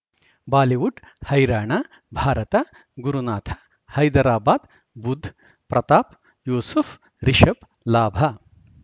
Bollywood ಹೈರಾಣ ಭಾರತ ಗುರುನಾಥ ಹೈದರಾಬಾದ್ ಬುಧ್ ಪ್ರತಾಪ್ ಯೂಸುಫ್ ರಿಷಬ್ ಲಾಭ